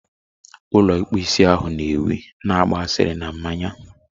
ulo ikpu isi ahụ na ewi na-agba asịrị na mmanya